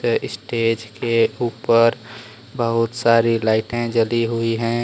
Stage के ऊपर बहुत सारी लाइटें जली हुई हैं।